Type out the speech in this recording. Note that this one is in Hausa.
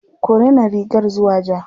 Ku rina rigar zuwa ja.